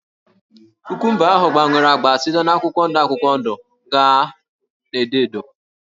Kukumba ahụ gbanwere ágbá site na akwụkwọ ndụ akwụkwọ ndụ gaa na edo edo